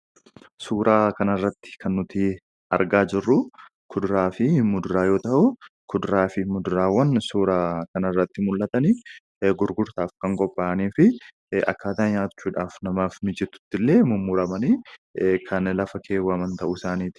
Suuraa kanarratti kan nuti arginaa jirru kuduraa fi muduraa yoo ta'u, kuduraa fi muduraan suuraa kanarratti mul'atan gurgurtaaf kan qophaa'anii fi akkaataa nyaachuudhaaf namaaf mijatutti mummuramanii kan qophaa'an ta'uusaati.